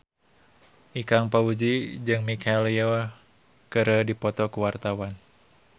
Ikang Fawzi jeung Michelle Yeoh keur dipoto ku wartawan